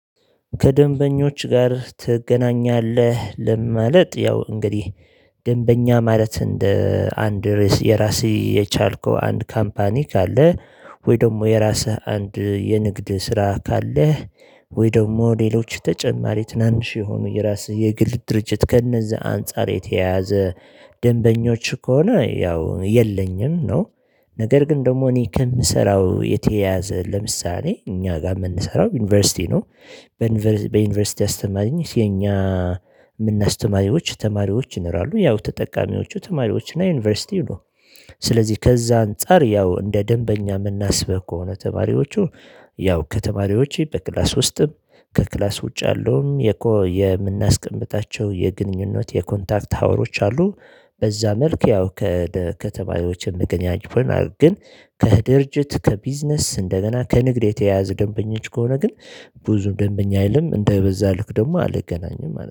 ከደንበኞች ጋር ትገናኛለህ? ለምን ማለት ያው እንግዲህ ደንበኛ ማለት እንደ አንድ ርዕስ የራሴ የቻልከው አንድ ካምፓኒ ካለ ወይ ደግሞ የራስህ አንድ የንግድ ስራ ካለህ ወይ ደግሞ ሌሎች ተጨማሪ ትናንሽ የሆኑ የራስህ የግል ድርጅት ከነዛ አንፃር የተያያዘ ደንበኞች ከሆነ ያው የለኝም ነው። ነገር ግን ደግሞ እኔ ከምሰራው የተያዘ ለምሳሌ እኛ ጋር የምንሰራው ዩኒቨርሲቲ ነው። በዩኒቨርሲቲ አስተማሪነት የኛ የምናስተማሪዎች ተማሪዎች ይኖራሉ ያው ተጠቃሚዎቹ ተማሪዎች እና ዩኒቨርሲቲው ነው። ስለዚህ ከዛ አንፃር ያው እንደ ደንበኛ የምናስበው ከሆነ ተማሪዎቹ ያው ከተማሪዎቼ በክላስ ውስጥም ከክላስ ውጭ ያለውም የኮ የምናስቀምጣቸው የግንኙነት የኮንታክት ሀወሮች አሉ። በዛ መልክ ያው ከተማሪዎች ምክንያት ይሆናል። ግን ከድርጅት ከቢዝነስ እንደገና ከንግድ የተያያዘ ደንበኞች ከሆነ ግን ብዙ ደንበኛ አይልም እንደ በዛ ልክ ደግሞ አንገናኝም